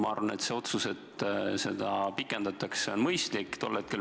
Ma arvan, et otsus seda pikendada on mõistlik.